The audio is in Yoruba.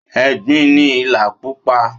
Egbin ni ìlà púpò